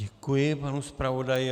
Děkuji panu zpravodaji.